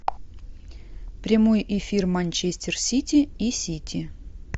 прямой эфир манчестер сити и сити